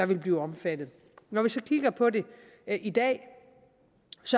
vil blive omfattet når vi så kigger på det i dag